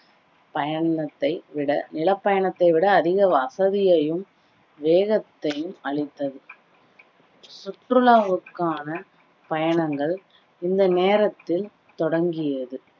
பயணத்தை விட நில பயணத்தைவிட அதிக வசதியையும் வேகத்தையும் அளித்தது சுற்றுலாவுக்கான பயணங்கள் இந்த நேரத்தில் தொடங்கியது